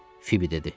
Fibi dedi.